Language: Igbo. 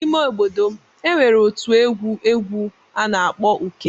N'ime obodo m, e nwere otu egwu egwu a na-akpọ Uke.